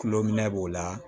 Kulo minɛ b'o la